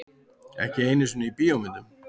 Ekki einu sinni í bíómyndum.